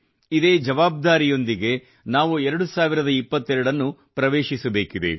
ಇದೇ ಜವಾಬ್ದಾರಿಯೊಂದಿಗೆ ನಾವು 2022 ನ್ನು ಪ್ರವೇಶಿಸಬೇಕಿದೆ